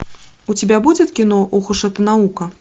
у тебя будет кино ох уж эта наука